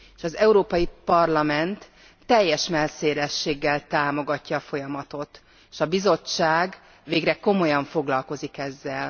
Az Európai Parlament teljes mellszélességgel támogatja a folyamatot, s a Bizottság végre komolyan foglalkozik ezzel.